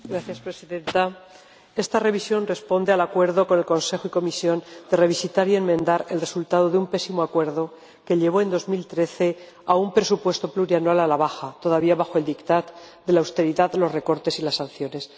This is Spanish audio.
Señora Presidenta, esta revisión responde al acuerdo con el Consejo y la Comisión de revisitar y enmendar el resultado de un pésimo acuerdo que llevó en 2013 a un presupuesto plurianual a la baja, todavía bajo el de la austeridad, los recortes y las sanciones.